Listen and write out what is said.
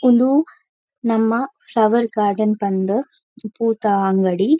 ಉಂದು ನಮ್ಮ flower garden ಪಂದ್ ಪೂ ತ್ತ ಅಂಗಡಿ.